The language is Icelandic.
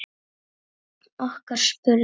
Einn okkar spurði